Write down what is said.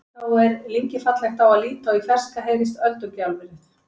Þá er lyngið fallegt á að líta og í fjarska heyrist öldugjálfrið.